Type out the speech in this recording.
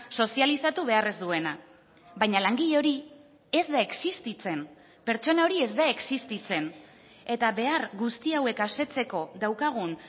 sozializatu behar ez duena baina langile hori ez da existitzen pertsona hori ez da existitzen eta behar guzti hauek asetzeko daukagun